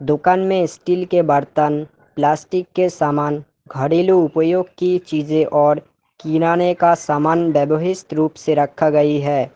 दुकान में स्टील के बर्तन प्लास्टिक के समान घरेलू उपयोग की चीजें और किराने का सामान व्यवहित रुप से रखा गई है।